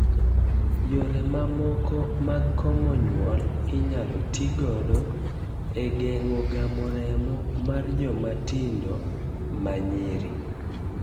Yore mamoko mag komo nyuol inyalo ti gido e geng'o gamo remo mar joma tindo ma nyiri.